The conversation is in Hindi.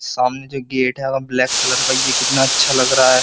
सामने जो गेट है ब्लैक कलर का ये कितना अच्छा लग रहा है।